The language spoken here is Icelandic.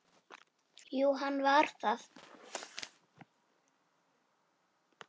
Já, hann var það.